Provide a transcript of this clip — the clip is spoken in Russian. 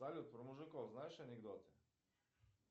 салют про мужиков знаешь анекдоты